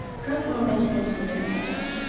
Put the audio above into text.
Kap bunun əksini sübut eləməyə çalışırdı.